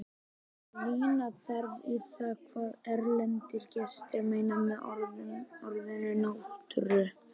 Rýna þarf í það hvað erlendir gestir meina með orðinu náttúra.